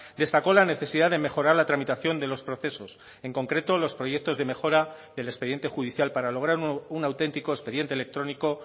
destacó la necesidad de mejorar la tramitación de los procesos en concreto los proyectos de mejora del expediente judicial para lograr un auténtico expediente electrónico